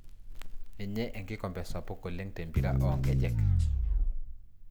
Ninye enkikombe sapuk oleng te mpira oo nkejek.